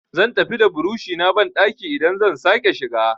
Zan tafi da burushi na banɗaki idan zan sake shiga.